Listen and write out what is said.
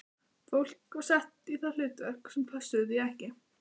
Fólk var þar sett í hlutverk sem pössuðu því ekki.